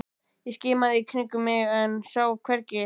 Ég skimaði í kringum mig en sá hann hvergi.